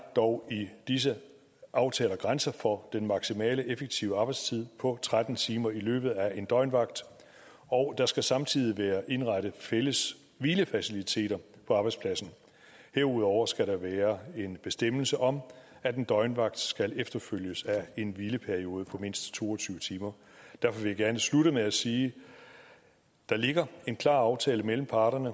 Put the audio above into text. dog i disse aftaler en grænse for den maksimale effektive arbejdstid på tretten timer i løbet af en døgnvagt og der skal samtidig være indrettet fælles hvilefaciliteter på arbejdspladsen herudover skal der være en bestemmelse om at en døgnvagt skal efterfølges af en hvileperiode på mindst to og tyve timer derfor vil jeg gerne slutte med at sige der ligger en klar aftale mellem parterne